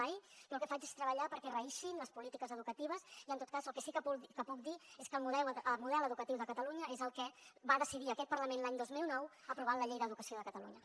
jo el que faig és treballar perquè reïxin les polítiques educatives i en tot cas el que sí que puc dir és que el model educatiu de catalunya és el que va decidir aquest parlament l’any dos mil nou aprovant la llei d’educació de catalunya